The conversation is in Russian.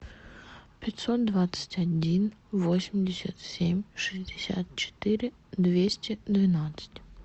пятьсот двадцать один восемьдесят семь шестьдесят четыре двести двенадцать